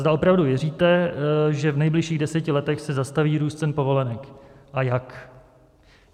Zda opravdu věříte, že v nejbližších deseti letech se zastaví růst cen povolenek a jak.